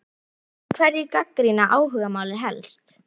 En hverjir gagnrýna áhugamálið helst?